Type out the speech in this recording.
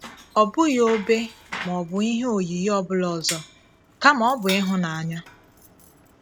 Ọ̀ bụghị òbè ma ọ bụ ihe oyiyi ọ bụlà ọzọ, kàma ọ̀ bụ ịhụnanya.